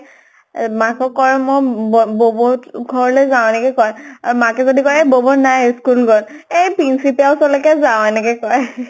এই মাকক কয় মই ব ব বৌৰ ঘৰলৈ যাওঁ এনেকে কয়। আৰু মাকে যদি কয় এই বৌ বৌ নাই, school গʼল। এই পিন্চিতাৰ ওচৰলৈ যাওঁ, এনেকে কয়